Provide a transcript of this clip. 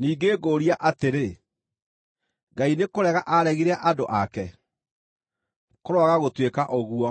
Ningĩ ngũũria atĩrĩ: Ngai nĩkũrega aaregire andũ ake? Kũroaga gũtuĩka ũguo!